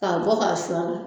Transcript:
K'a bɔ k'a su a la